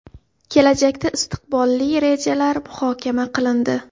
Kelajakda istiqbolli rejalar muhokama qilindi.